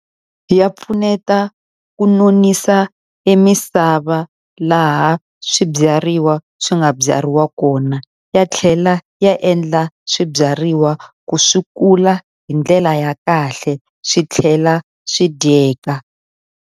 Ya pfuneta ku nonisa e misava laha swibyariwa swi nga byariwa kona, ya tlhela ya endla swibyariwa ku swi kula hi ndlela ya kahle, swi tlhela swi dyeka.